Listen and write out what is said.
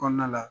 Kɔnɔna la